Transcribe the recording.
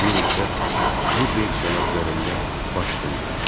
Bir müddət bu versiyalar üzərində baş sındırdım.